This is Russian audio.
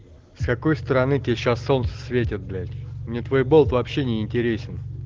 с какой стороны тебе сейчас солнце светит блять мне твой болт вообще не интересен